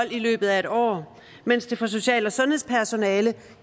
i løbet af et år mens det for social og sundhedspersonale